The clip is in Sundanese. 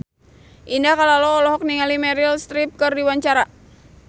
Indah Kalalo olohok ningali Meryl Streep keur diwawancara